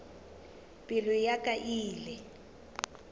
pelo ya ka e ile